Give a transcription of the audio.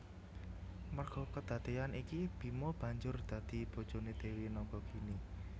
Merga kedadeyan iki Bima banjur dadi bojone Dewi Nagagini